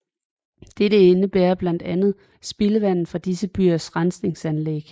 Dette indebærer blandt andet spildevandet fra disse byers rensningsanlæg